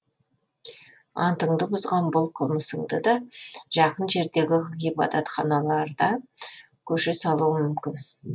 антыңды бұзған бұл қылмысыңды да жақын жердегі ғибадатханаларда көше салуы мүмкін